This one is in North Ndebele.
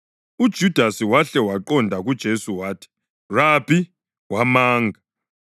UJudasi wahle waqonda kuJesu wathi, “Rabi!” wamanga.